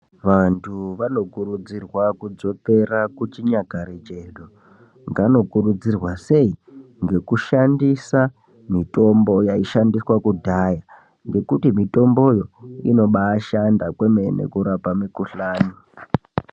Vantu vanokurudzirwa kudzokera kuchinyakare chedu . Vanokurudzirwa sei ?, ngekushandisa mitombo yaishandiswa kudhaya nekuti mitombo yoo inobashanda kwemene kurapa mukuhlani.